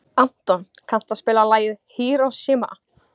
Anton, kanntu að spila lagið „Hiroshima“?